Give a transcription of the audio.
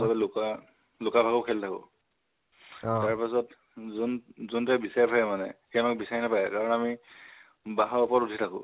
চ'বে লুকুৱা লুকা ভাকু খেলি থাকো, তাৰ পাছত যো যোনটয়ে বিচাৰি ফুৰে মানে সি আমাক বিচাৰি নাপায় মানে আমি কাৰণ আমি বাহঁৰ উপৰত উঠি থাকো